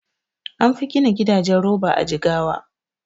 Anfi gina gidajen roba a Jigawa